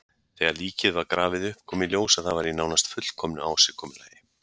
Þegar líkið var grafið upp kom í ljós að það var í nánast fullkomnu ásigkomulagi.